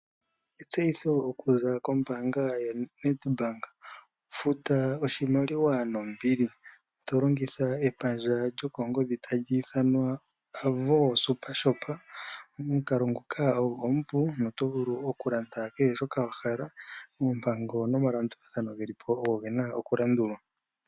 Etseyitho okuza kombaanga yaNedbank, futa oshimaliwa nombili tolongitha epandja lyokongodhi tali ithanwa Avo Super Shop. Omukalo ngoka ogo omupu no tovulu okulanda kehe shoka wahala. Oompango nomalandulathano geli po ogo gena okulandulwa.